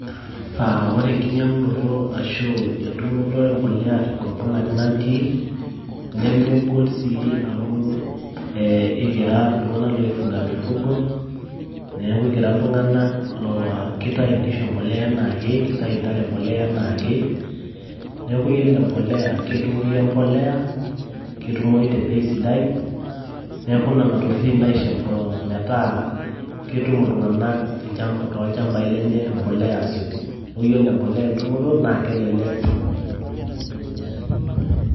Ore enkinyiang`unoto ashu entumoto e mpolea tenkop nanu natii, nemegol sii amu ee ekira iltung`anak oi fuga mifugo niaku ekira iltung`anak laa kitayu nkishu empolea anaake neitayu ntare empolea anaake. Niaku yiolo empolea ketumoyu empolea ketumoyu te bei sidai. Niaku nena tokitin naisho metaa ketum iltung`anak too ilchamabai lenye empolea aasioki. Niaku ore empolea entumoto naa kelelek too nkuapi tenkop nanu natii.